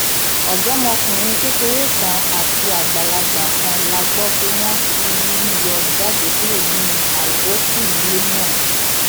ọdọmọkùnrin kékeré kan àti àgbàlagbà kan la gbọ pé wọn ti rí yọ jáde kúrò nínú àwókù ilé náà